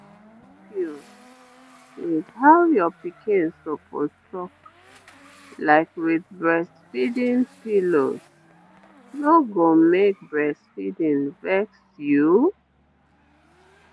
how your pikin suppose suck like with breastfeeding pillows no go make breastfeeding vex you